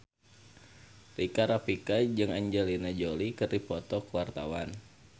Rika Rafika jeung Angelina Jolie keur dipoto ku wartawan